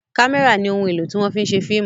kamẹra ní òún èló tí wón fí ń ṣe fíìmù